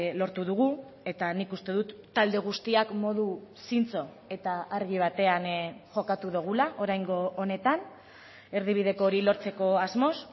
lortu dugu eta nik uste dut talde guztiak modu zintzo eta argi batean jokatu dugula oraingo honetan erdibideko hori lortzeko asmoz